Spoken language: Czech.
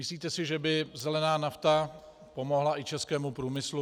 Myslíte si, že by zelená nafta pomohla i českému průmyslu?